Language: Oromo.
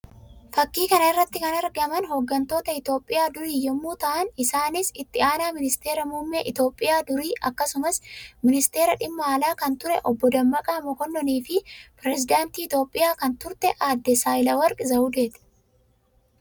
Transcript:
Fakkii kana irratti kan argaman hoggantoota Itoophiyaa durii yammuu ta'an; isaannis itti aanaa ministeera muummee Itoophiyaa durii akkasumas ministeera dhimma alaa kan ture Obbo Dammaqaa Mokonnoonii fi pirezidaantii Itoophiyaa kan turte aadda Saayilewarq Zawwudee dha.